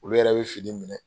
Olu yɛrɛ bɛ fini minɛ.